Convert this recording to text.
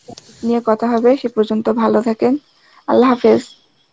নিয়ে কথা হবে সে পর্যন্ত ভালো থাকেন, Arbi .